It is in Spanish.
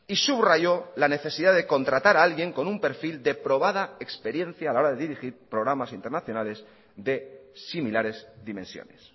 y subrayó la necesidad de contratar a alguien con un perfil de probada experiencia a la hora de dirigir programas internacionales de similares dimensiones